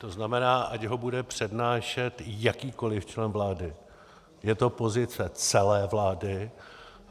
To znamená, ať ho bude přednášet jakýkoli člen vlády, je to pozice celé vlády.